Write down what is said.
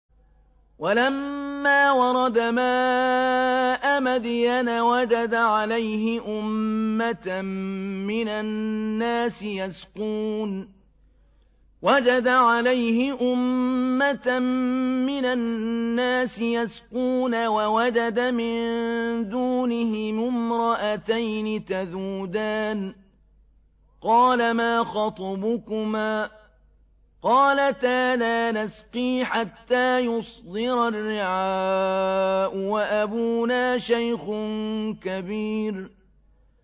وَلَمَّا وَرَدَ مَاءَ مَدْيَنَ وَجَدَ عَلَيْهِ أُمَّةً مِّنَ النَّاسِ يَسْقُونَ وَوَجَدَ مِن دُونِهِمُ امْرَأَتَيْنِ تَذُودَانِ ۖ قَالَ مَا خَطْبُكُمَا ۖ قَالَتَا لَا نَسْقِي حَتَّىٰ يُصْدِرَ الرِّعَاءُ ۖ وَأَبُونَا شَيْخٌ كَبِيرٌ